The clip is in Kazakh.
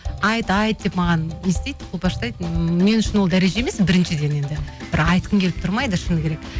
айт айт деп маған не істейді қолпаштайды мен үшін ол дәреже емес біріншіден енді бір айтқым келіп тұрмайды шыны керек